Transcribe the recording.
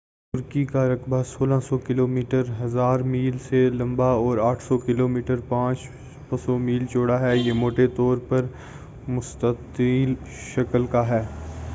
ترکی کا رقبہ 1600 کلومیٹر 1,000 میل سے زیادہ لمبا اور 800 کلو میٹر 500 میل چوڑا ہے۔ یہ موٹے طور سے مستطیل شکل کا ہے۔